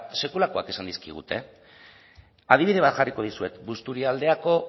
sekulakoak esan dizkigute adibide bat jarriko dizuet busturialdeako